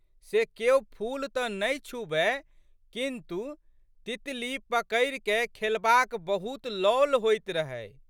से केओ फूल तऽ नहि छूबए किन्तु, तितली पकड़िकए खेलबाक बहुत लौल होइत रहै।